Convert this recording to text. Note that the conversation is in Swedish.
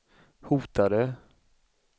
hotade